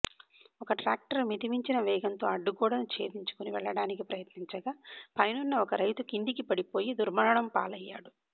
ఒక ట్రాక్టర్ మితిమించిన వేగంతో అడ్డుగోడను ఛేదించుకుని వెళ్లడానికి ప్రయత్నించగా పైనున్న ఒక రైతు కిందకి పడిపోయి దుర్మరణం పాలయ్యాడు